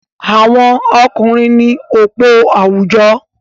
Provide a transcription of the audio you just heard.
Àwọn ọkùnrin ní òpó àwùjọ.